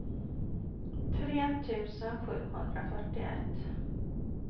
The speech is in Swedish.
tre tusen sjuhundrafyrtioett